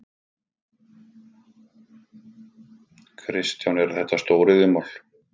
Kristján: Eru þetta stóriðjumál?